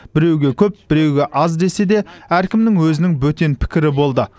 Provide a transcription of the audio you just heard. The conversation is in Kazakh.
біреуге көп біреуге аз десе де әркімнің өзінің бөтен пікірі болды